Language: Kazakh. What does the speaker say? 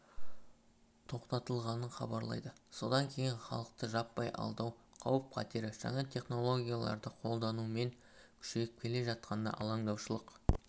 тоқтатылғанын хабарлайды содан кейін халықты жаппай алдау қауіп-қатері жаңа технологияларды қолданумен күшейіп келе жатқанына алаңдаушылық